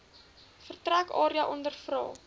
vertrek area ondervra